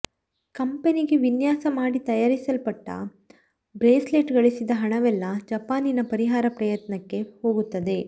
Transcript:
ಕಂಪನಿಗೆ ವಿನ್ಯಾಸ ಮಾಡಿ ತಯಾರಿಸಲ್ಪಟ್ಟ ಬ್ರೇಸ್ಲೆಟ್ ಗಳಿಸಿದ ಹಣವೆಲ್ಲ ಜಪಾನಿನ ಪರಿಹಾರ ಪ್ರಯತ್ನಕ್ಕೆ ಹೋಗುತ್ತದೆ